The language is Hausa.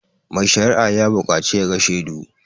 Mai sharia ya buƙacu ya ga shedu